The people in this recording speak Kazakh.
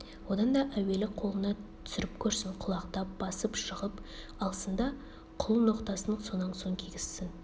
одан да әуелі қолына түсіріп көрсін құлақтап басып жығып алсын да құл ноқтасын сонан соң кигізсін